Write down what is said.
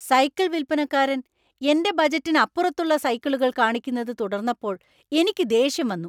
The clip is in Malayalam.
സൈക്കിൾ വിൽപ്പനക്കാരൻ എന്‍റെ ബജറ്റിനപ്പുറത്തു ള്ള സൈക്കിളുകൾ കാണിക്കുന്നത് തുടർന്നപ്പോൾ എനിക്ക് ദേഷ്യം വന്നു .